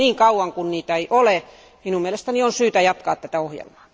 Mutta niin kauan kuin sitä ei ole, minun mielestäni on syytä jatkaa tätä ohjelmaa.